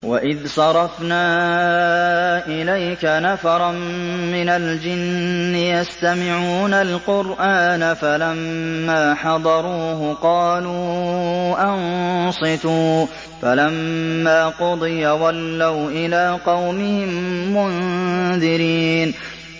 وَإِذْ صَرَفْنَا إِلَيْكَ نَفَرًا مِّنَ الْجِنِّ يَسْتَمِعُونَ الْقُرْآنَ فَلَمَّا حَضَرُوهُ قَالُوا أَنصِتُوا ۖ فَلَمَّا قُضِيَ وَلَّوْا إِلَىٰ قَوْمِهِم مُّنذِرِينَ